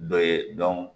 Dɔ ye